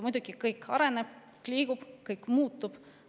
Muidugi kõik areneb, kõik liigub, kõik muutub.